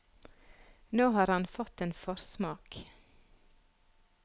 Nå har han fått en forsmak.